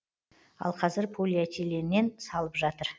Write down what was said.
ал қазір полиэтиленнен салып жатыр